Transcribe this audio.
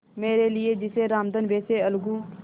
मेरे लिए जैसे रामधन वैसे अलगू